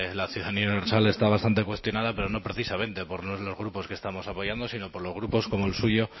la ciudadanía universal está bastante cuestionada pero no precisamente por los grupos que estamos apoyando sino por los grupos como el suyo